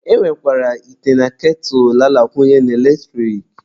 E nwekwara ite na ketụlụ a na-akwunye n'eletrik.